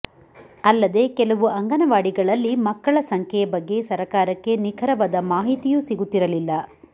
ಅಲ್ಲದೆ ಕೆಲವು ಅಂಗನವಾಡಿಗಳಲ್ಲಿಮಕ್ಕಳ ಸಂಖ್ಯೆಯ ಬಗ್ಗೆ ಸರಕಾರಕ್ಕೆ ನಿಖರವಾದ ಮಾಹಿತಿಯೂ ಸಿಗುತ್ತಿರಲಿಲ್ಲ